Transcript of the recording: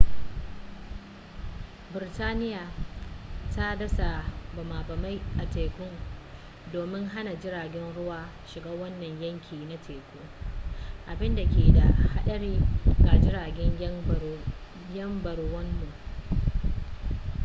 birtaniya ta dasa bama bamai a teku domin hana jiragen ruwa shiga wannan yanki na teku abinda ke da hadari ga jiragen yan baruwanmu